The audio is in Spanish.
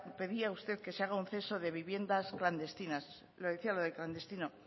pedía usted que se haga un censo de viviendas clandestinas le decía lo de clandestino